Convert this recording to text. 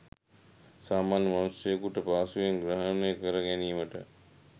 සාමාන්‍ය මනුෂ්‍යයෙකුට පහසුවෙන් ග්‍රහණය කරගැනීමට